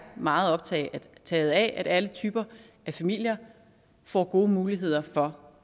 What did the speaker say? meget optaget af at alle typer af familier får gode muligheder for